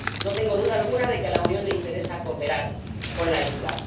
No tengo duda alguna de que a la Unión le interesa cooperar con la isla.